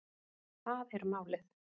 Það er málið